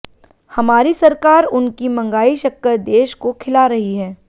हमारी सरकार उनकी मंगाई शक्कर देश को खिला रही है